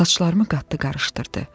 Saçlarımı qatdı, qarışdırdı.